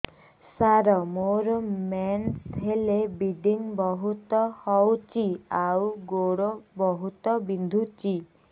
ସାର ମୋର ମେନ୍ସେସ ହେଲେ ବ୍ଲିଡ଼ିଙ୍ଗ ବହୁତ ହଉଚି ଆଉ ଗୋଡ ବହୁତ ବିନ୍ଧୁଚି